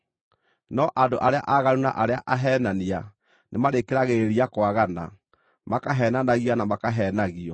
No andũ arĩa aaganu na arĩa aheenania nĩmarĩkĩragĩrĩria kwagana, makaheenanagia na makaheenagio.